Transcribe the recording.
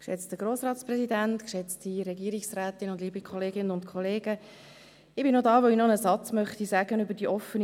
Ich bin hier, weil ich etwas zur Okja sagen will.